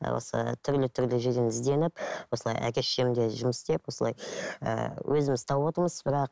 ы осы түрлі түрлі жерден ізденіп осылай әке шешем де жұмыс істеп осылай ііі өзіміз тауып отырмыз бірақ